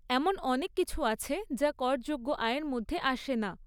এমন অনেক কিছু আছে যা করযোগ্য আয়ের মধ্যে আসে না।